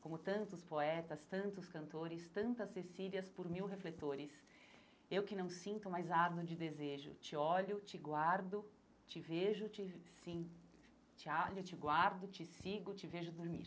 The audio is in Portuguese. Como tantos poetas, tantos cantores, tantas Cecílias por mil refletores, eu que não sinto, mas ardo de desejo, te olho, te guardo, te vejo, te sim, te olho, te guardo, te sigo, te vejo dormir.